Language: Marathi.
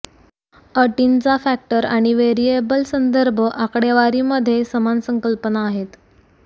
अटींचा फॅक्टर आणि वेरियेबल संदर्भ आकडेवारीमध्ये समान संकल्पना आहेत